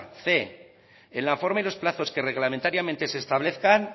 cien en la forma y los plazos que reglamentariamente se establezcan